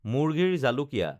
মুৰ্গীৰ জালুকীয়া